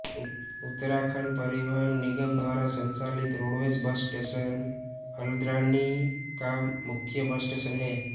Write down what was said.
उत्तराखण्ड परिवहन निगम द्वारा संचालित रोडवेज बस स्टेशन हल्द्वानी का मुख्य बस स्टेशन है